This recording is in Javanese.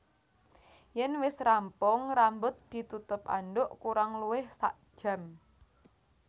Yèn wis rampung rambut ditutup andhuk kurang luwih sakjam